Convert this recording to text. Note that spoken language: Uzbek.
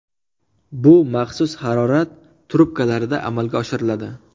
Bu maxsus harorat trubkalarida amalga oshiriladi.